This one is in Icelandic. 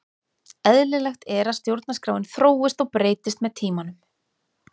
Eðlilegt er að stjórnarskráin þróist og breytist með tímanum.